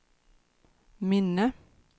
minne